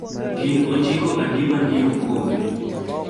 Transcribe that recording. gin ojiko adi ma ni e okombe?